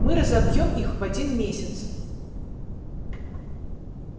мы разобьём их в один месяц